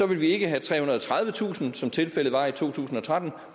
vil vi ikke have trehundrede og tredivetusind som tilfældet var i to tusind og tretten